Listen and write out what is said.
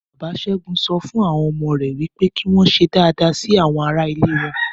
Bàbá Ṣẹ́gun sọ fún àwọn ọmọ rè pé kí wọn ṣe dáadáa sí àwọn ará ilé wọn.